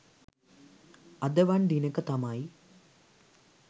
අද වන් දිනෙක තමයි